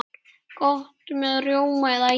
Gott með rjóma eða ís.